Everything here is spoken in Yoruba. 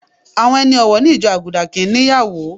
Àwọn ẹni ọ̀wọ̀ ní ìjọ Àgùdà kì ń ní ìyàwó.